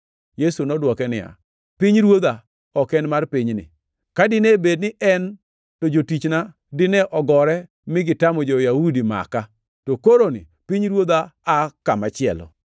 Yesu nodwoke niya, “Pinyruodha ok en mar pinyni. Ka dine bed ni en, to jotichna dine ogore mi gitamo jo-Yahudi maka. To koroni, pinyruodha aa kamachielo.”